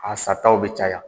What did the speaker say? A sataw bɛ caya